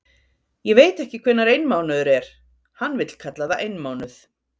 Ég veit ekki hvenær einmánuður er, hann vill kalla það einmánuð.